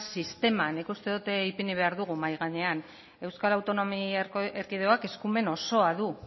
sistema nik uste dut ipini behar dugula mahai gainean euskal autonomia erkidegoak eskumen osoa du